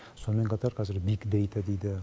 сонымен қатар қазір биг дата дейді